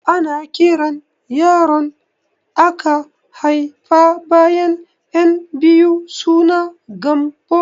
Ana kiran yaron aka haifa bayan ƴan biyu suna Gambo